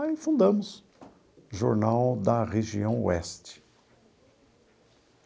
Aí fundamos o Jornal da Região Oeste.